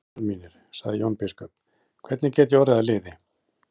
Herrar mínir, sagði Jón biskup,-hvernig get ég orðið að liði?